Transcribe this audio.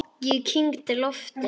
Ég kyngdi lofti.